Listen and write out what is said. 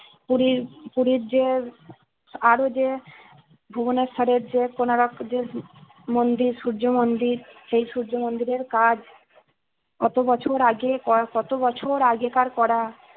পুরীর পুরীর যে আরো যে ভুবনেশ্বরের যে কোনারকের যে মন্দির সূর্য মন্দির সেই সূর্য মন্দিরের কাজ কত বছর আগে করা গত বছর আগেকার করা